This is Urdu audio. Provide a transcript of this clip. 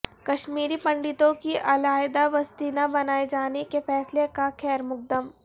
کشمیری پنڈتوں کی علاحدہ بستی نہ بنائے جانے کے فیصلے کا خیر مقدم